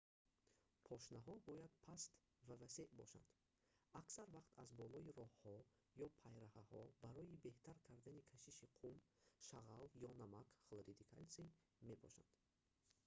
пошнаҳо бояд паст ва васеъ бошанд. аксар вақт аз болои роҳҳо ё пайраҳаҳо барои беҳтар кардани кашиш қум шағал ё намак хлориди калтсий мепошанд